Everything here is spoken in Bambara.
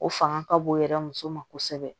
O fanga ka bon o yɛrɛ muso ma kosɛbɛ